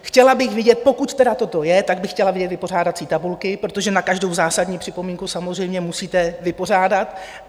Chtěla bych vidět, pokud tedy toto je, tak bych chtěla vidět vypořádací tabulky, protože na každou zásadní připomínku samozřejmě musíte vypořádat.